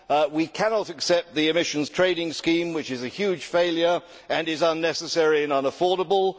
We cannot accept the emissions trading scheme, which is a huge failure and is unnecessary and unaffordable.